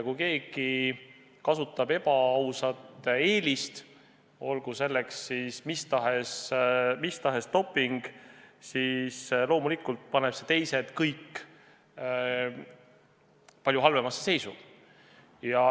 Kui keegi kasutab ebaausat eelist, olgu selleks mis tahes doping, siis loomulikult paneb see teised kõik palju halvemasse seisu.